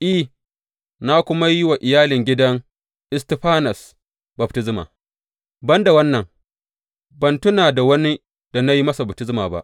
I, na kuma yi wa iyalin gidan Istifanas baftisma, ban da wannan, ban tuna da wani da na yi masa baftisma ba.